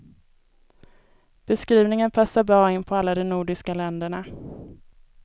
Beskrivning passar bra in på alla de nordiska länderna.